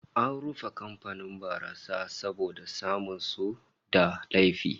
An rufe kamfanin barasa saboda samun su da laifi